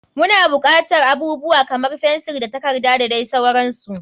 Muna bukatar abubuwa kamar fensir da takarda da dai sauransu.